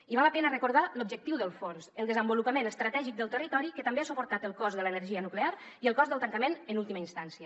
i val la pena recordar l’objectiu del fons el desenvolupament estratègic del territori que també ha suportat el cost de l’energia nuclear i el cost del tancament en última instància